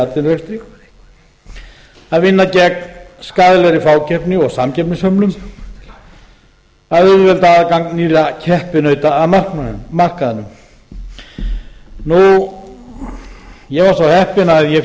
atvinnurekstri b vinna gegn skaðlegri fákeppni og samkeppnishömlum c auðvelda aðgang nýrra keppinauta að markaðnum ég var svo heppinn að ég